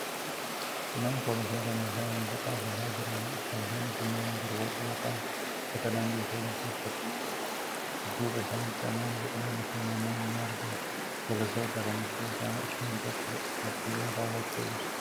Kunneen poolisoota meedhaa muuziqaa afuufaa jiraniidha. Poolisoonni kunneen durboota yoo ta'an, uffata dambii poolisii uffatanii argamu. Dudduba isaanitti ammoo biqiloonni fi manneen ni argamu. Poolisoota kana keessaa isheen tokko kooffiyyaa kaawwattee jirti.